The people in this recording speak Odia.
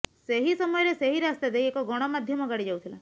ସେହି ସମୟରେ ସେହି ରାସ୍ତା ଦେଇ ଏକ ଗଣମାଧ୍ୟମ ଗାଡ଼ି ଯାଉଥିଲା